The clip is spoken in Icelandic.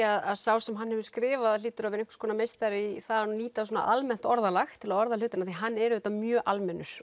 að sá sem hefur skrifað hann hlýtur að vera einhvers konar meistari í að nýta almennt orðalag til að orða hlutina því að hann er auðvitað mjög almennur